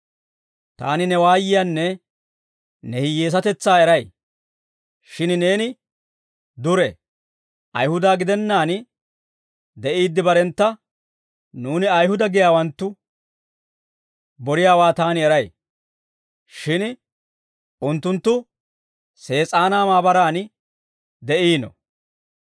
Taani ne waayiyaanne ne hiyyeesatetsaa eray; shin neeni dure. Ayihuda gidennaan de'iidde barentta, Nuuni Ayihuda giyaawanttu boriyaawaa taani eray; shin unttunttu Sees'aanaa maabaran de'iino.